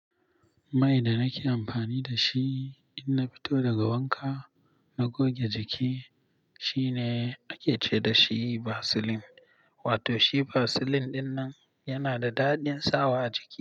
Mai da nake amfani da shi in na fito daga wanka na goge jiki, shine ake ce dashi vaseline. Wato shi vaseline ɗinnan yana da daɗin sawa a jiki.